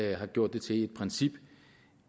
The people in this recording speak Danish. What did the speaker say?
jeg har gjort det til et princip